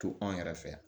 To anw yɛrɛ fɛ yan